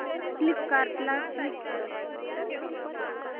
फ्लिपकार्टं ला स्विच कर